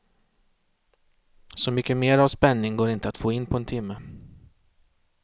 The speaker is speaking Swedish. Så mycket mer av spänning går inte att få in på en timme.